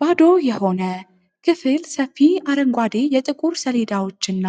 ባዶ የሆነ ክፍል ሰፊ አረንጓዴ የጥቁር ሰሌዳዎች እና